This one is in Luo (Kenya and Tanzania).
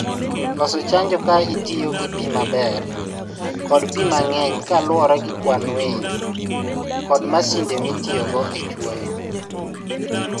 Loso chanjo ka itiyo gi pi maber kod pi mang'eny kaluwore gi kwan winy kod masinde mitiyogo e chuoyo